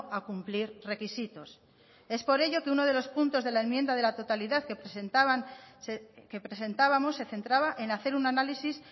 a cumplir requisitos es por ello que uno de los puntos de la enmienda de la totalidad que presentábamos se centraba en hacer un análisis